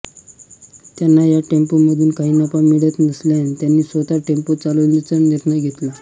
त्यांना या टेम्पोमधून काही नफा मिळत नसल्याने त्यांनी स्वतः टेम्पो चालवण्याचा निर्णय घेतला